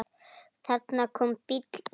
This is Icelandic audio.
Þarna kom bíll, jeppi.